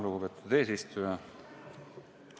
Lugupeetud eesistuja!